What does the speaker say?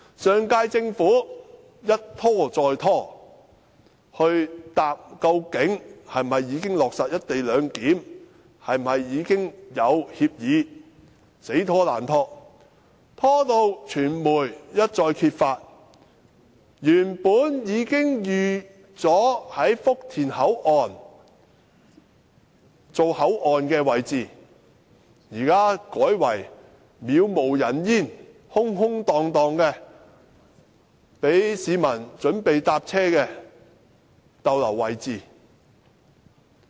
上屆政府一拖再拖，沒有回答究竟是否已經落實"一地兩檢"，是否已經有協議，它一拖再拖，直至傳媒揭發原本已經預計在福田站設立口岸的位置，現時卻成為杳無人煙、空空蕩蕩、讓市民候車的位置。